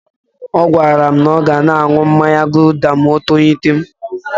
Ọ gwara m na ọ ga na-aṅụ mmanya guuda ma o tolite.